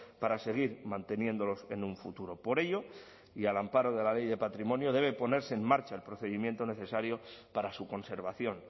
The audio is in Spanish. para seguir manteniéndolos en un futuro por ello y al amparo de la ley de patrimonio debe ponerse en marcha el procedimiento necesario para su conservación